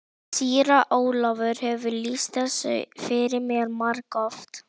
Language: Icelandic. Síra Ólafur hefur lýst þessu fyrir mér margoft.